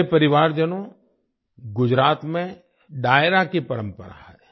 मेरे परिवारजनों गुजरात में डायरा की परंपरा है